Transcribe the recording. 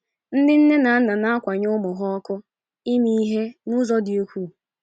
Ndị nne na nna na - akwanye ụmụ ha ọkụ ime ihe n’ụzọ dị ukwuu.